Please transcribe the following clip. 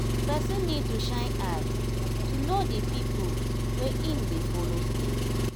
person need to shine eye to know di pipo wey im dey follow stay